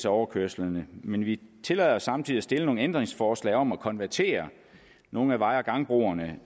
overkørslerne men vi tillader os samtidig at stille nogle ændringsforslag om at konvertere nogle af vej og gangbroerne